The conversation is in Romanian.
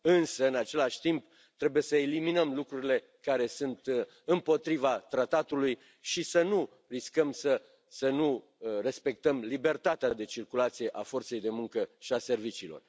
Însă, în același timp, trebuie să eliminăm lucrurile care sunt împotriva tratatului și să nu riscăm să nu respectăm libertatea de circulație a forței de muncă și a serviciilor.